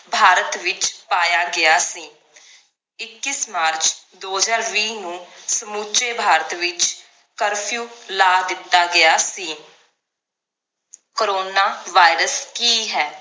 ਭਾਰਤ ਵਿਚ ਪਾਇਆ ਗਿਆ ਸੀ ਇੱਕੀਸ ਮਾਰਚ ਦੋ ਹਜਾਰ ਵੀ ਨੂੰ ਸਮੁਚੇ ਭਾਰਤ ਵਿਚ curfew ਲਾ ਦਿੱਤਾ ਗਿਆ ਸੀ coronavirus ਕੀ ਹੈ